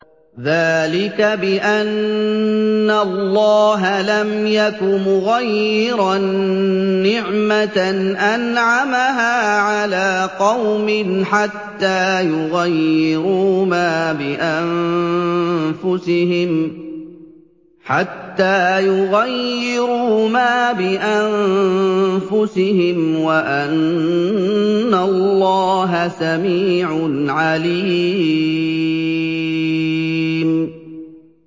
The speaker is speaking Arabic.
ذَٰلِكَ بِأَنَّ اللَّهَ لَمْ يَكُ مُغَيِّرًا نِّعْمَةً أَنْعَمَهَا عَلَىٰ قَوْمٍ حَتَّىٰ يُغَيِّرُوا مَا بِأَنفُسِهِمْ ۙ وَأَنَّ اللَّهَ سَمِيعٌ عَلِيمٌ